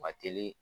Ma teli